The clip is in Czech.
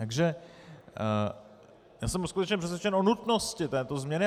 Takže já jsem skutečně přesvědčen o nutnosti této změny.